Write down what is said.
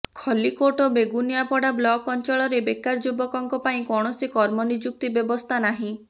ଖଲ୍ଲିକୋଟ ଓ ବେଗୁନିଆପଡା ବ୍ଲକ ଅଞ୍ଚଳରେ ବେକାର ଯୁବକଙ୍କ ପାଇଁ କୌଣସି କର୍ମ ନିଯୁକ୍ତି ବ୍ୟବସ୍ଥା ନାହିଁ